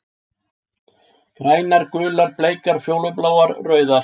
Grænar, gular, bleikar, fjólubláar, rauðar.